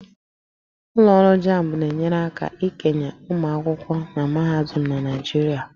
Ụlọ ọrụ JAMB na-enyere aka ikenye ụmụ akwụkwọ na mahadum na Naịjirịa